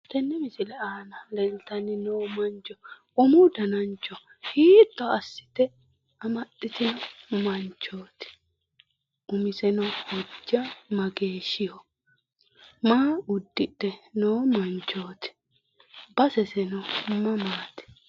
Tenne misile aana leeltanni noo mancho umu danancho hiitto assite amaxxitino manchooti? Umiseno hojja mageeshshiho? Maa uddidhe noo manchooti? Baseseno mamaati?